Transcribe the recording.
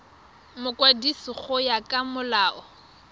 mokwadisi go ya ka molao